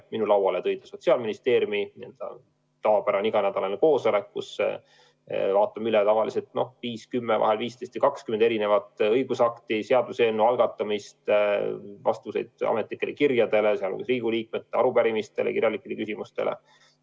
Minu lauale jõudis see Sotsiaalministeeriumi tavapärasel iganädalasel koosolekul, kus me vaatame tavaliselt üle 5–10, vahel 15–20 õigusakti – need on seaduseelnõu algatused, vastused ametlikele kirjadele, sh Riigikogu liikmete arupärimistele ja kirjalikele küsimustele.